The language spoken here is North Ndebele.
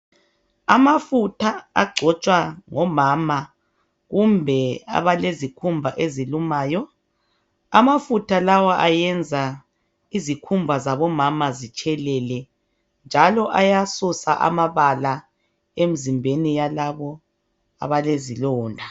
Amafutha agcotshwa ngomama kumbe abalezikhumba ezilumayo. Amafutha lawa ayenza izikhumba zabomama zitshelele njalo ayasusa amabala emzimbeni yalabo abalezilonda.